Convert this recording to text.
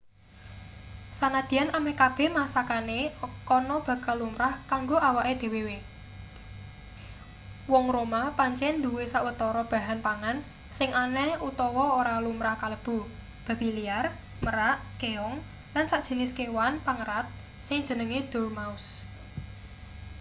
sanadyan ameh kabeh masakane kana bakal lumrah kanggo awake dhewehewe wong roma pancen duwe sawetara bahan pangan sing aneh utawa ora lumrah kalebu babi liar merak keong lan sajinis kewan pengerat sing jenenge dormouse